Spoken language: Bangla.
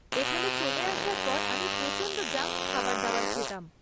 এখানে চলে আসার পর আমি প্রচণ্ড জাঙ্ক খাবার দাবার খেতাম।